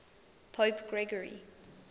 pope gregory